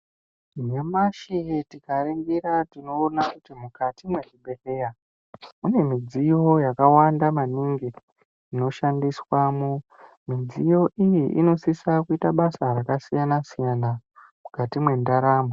Nyamashi tika ningira tinoona kuti mukati mwe zvibhedhleya mune midziyo yakawanda maningi inoshandiswa mu mudziyo iyi inosisa kuita basa raka siyana siyana mukati mwe ndaramo.